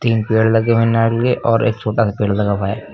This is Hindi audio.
तीन पेड़ लगे हुए हैं नारियल और एक छोटा सा पेड़ लगा हुआ है।